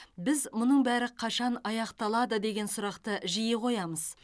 біз мұның бәрі қашан аяқталады деген сұрақты жиі қоямыз